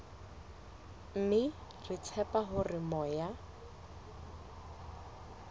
mme re tshepa hore moya